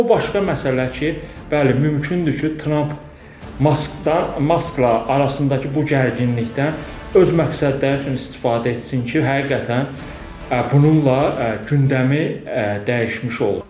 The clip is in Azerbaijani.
Amma o başqa məsələlər ki, bəli, mümkündür ki, Tramp Maskdan, Maskla arasındakı bu gərginlikdən öz məqsədləri üçün istifadə etsin ki, həqiqətən bununla gündəmi dəyişmiş olur.